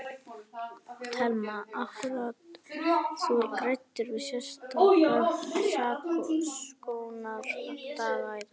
Telma: Akkúrat, þú ræddir við sérstaka saksóknara í dag?